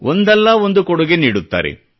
ಒಂದಲ್ಲಾ ಒಂದು ಕೊಡುಗೆ ನೀಡುತ್ತಾರೆ